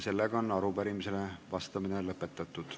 Arupärimisele vastamine on lõpetatud.